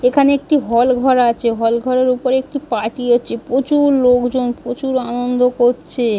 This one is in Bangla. এখানে একটি হল ঘর আছে। হল ঘরের ওপরে একটি পার্টি হচ্ছে প্র-চুর লোকজন প্রচুর আনন্দ করছে ।